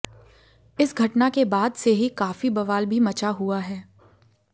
इस घटना के बाद से ही काफी बवाल भी मचा हुआ है